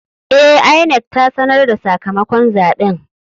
E, INEC ta sanar da sakamakon zaben.